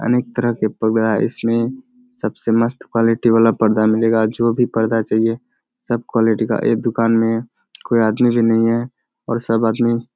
अनेक तरह के पर्दा इसमें सबसे मस्त क्वालिटी वाला पर्दा मिलेगा जो भी पर्दा चाहिए सब क्वालिटी का एक दुकान में कोइ अदमी भी नहीं है और सब आदमी --